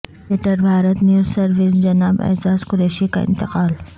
editor Bharat news service جناب اعجاز قریشی کا انتقال